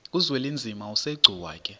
uzwelinzima asegcuwa ke